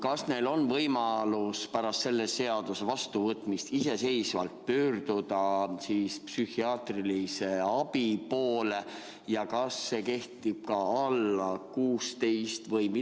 Kas neil on võimalus pärast selle seaduse vastuvõtmist iseseisvalt pöörduda psühhiaatri poole ja kas see kehtib ka vanuses alla 16?